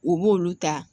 U b'olu ta